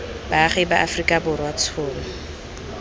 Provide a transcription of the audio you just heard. baagi ba aforika borwa tshono